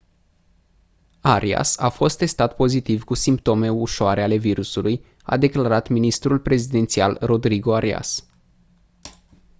arias a fost testat pozitiv cu simptome ușăare ale virusului a declarat ministrul prezidențial rodrigo arias